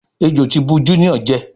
Ẹjọ tí bù Junior jé.